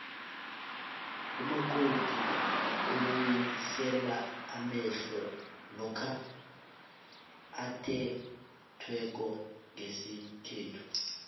umakoti ubuyisela amehlo lokha athethweko ngesikhethu